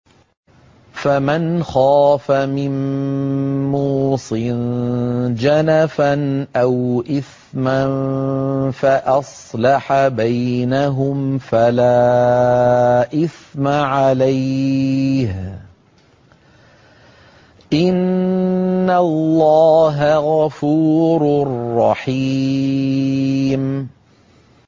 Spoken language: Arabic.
فَمَنْ خَافَ مِن مُّوصٍ جَنَفًا أَوْ إِثْمًا فَأَصْلَحَ بَيْنَهُمْ فَلَا إِثْمَ عَلَيْهِ ۚ إِنَّ اللَّهَ غَفُورٌ رَّحِيمٌ